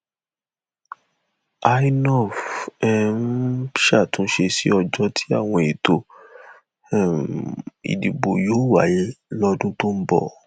inov um ṣàtúnṣe sí ọjọ tí àwọn ètò um ìdìbò yóò wáyé lọdún tó ń bọ